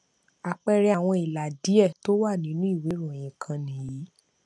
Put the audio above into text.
àpẹẹrẹ àwọn ìlà díẹ tó wà nínú ìwé ìròyìn kan nìyí